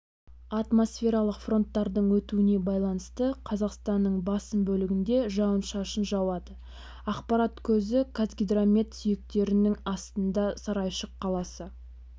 атмосфералық фронттардың өтуіне байланысты қазақстанның басым бөлігінде жауын-шашын жауады ақпарат көзі қазгидромет сүйектердің астында сарайшық қаласы